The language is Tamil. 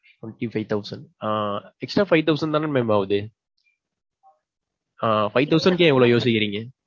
twenty five thousand அ extra five thousand தான mam ஆவுது? ஆ. five thousand க்கு ஏன் இவ்வளவு யோசிக்கிறீங்க?